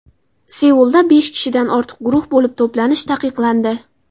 Seulda besh kishidan ortiq guruh bo‘lib to‘planish taqiqlandi.